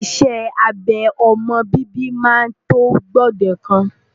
Iṣẹ́ abẹ ọmọ bíbí máa tó gbòdekan.